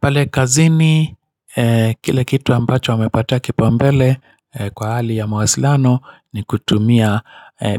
Pale kazini, kile kitu ambacho wamepatia kipaumbele kwa hali ya mawasiliano ni kutumia